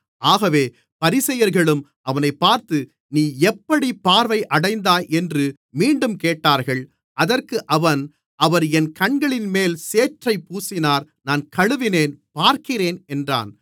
ஆகவே பரிசேயர்களும் அவனைப் பார்த்து நீ எப்படிப் பார்வை அடைந்தாய் என்று மீண்டும் கேட்டார்கள் அதற்கு அவன் அவர் என் கண்களின்மேல் சேற்றைப் பூசினார் நான் கழுவினேன் பார்க்கிறேன் என்றான்